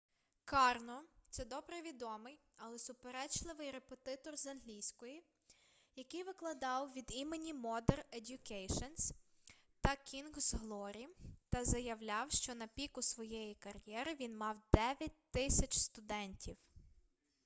карно це добре відомий але суперечливий репетитор з англійської який викладав від імені модер едьюкейшн та кінгз глорі та заявляв що на піку своєї кар'єри він мав 9000 студентів